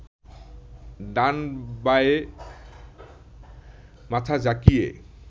ডানে বায়ে মাথা ঝাঁকিয়ে